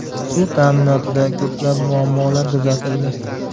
Suv ta’minotida ko‘plab muammolar kuzatildi.